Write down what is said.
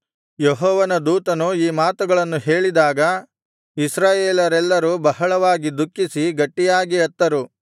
ಯೆಹೋವನ ದೂತನು ಈ ಮಾತುಗಳನ್ನು ಹೇಳಿದಾಗ ಇಸ್ರಾಯೇಲರೆಲ್ಲರೂ ಬಹಳವಾಗಿ ದುಃಖಿಸಿ ಗಟ್ಟಿಯಾಗಿ ಅತ್ತರು